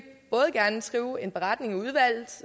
skrive en beretning i udvalget